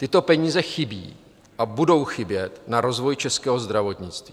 Tyto peníze chybí a budou chybět na rozvoj českého zdravotnictví.